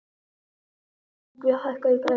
Yngvi, hækkaðu í græjunum.